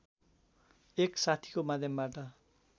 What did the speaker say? एक साथीको माध्यमबाट